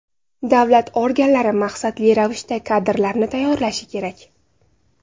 Davlat organlari maqsadli ravishda kadrlarni tayyorlashi kerak.